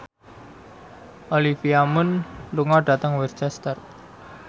Olivia Munn lunga dhateng Worcester